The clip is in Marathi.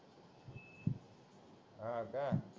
हा का